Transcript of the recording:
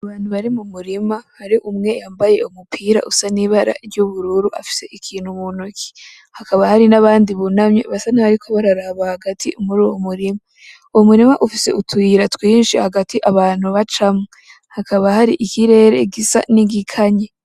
Abantu bari mu murima hari umwe yambaye umupira usa n’ibara ry’ubururu afise ikintu mu ntoke , hakaba hari n’abandi bunamye basa n’abariko bararaba hagati muruyo murima . Uwo Umurima ufise utuyira twinshi hagati abantu bacamwo hakaba hari ikirere gisa n’igikanye.